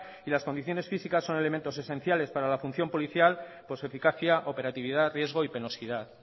y las condiciones físicas son elementos esenciales para la función policial por su eficacia operatividad riesgo y penosidad